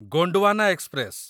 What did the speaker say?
Gondwana express